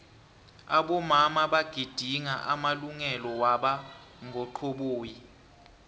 abomama bagidinga amalungelo waba ngo xhoboyi